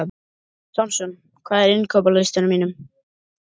Samson, hvað er á innkaupalistanum mínum?